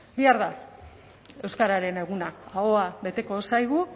bihar da euskararen eguna ahoa beteko zaigu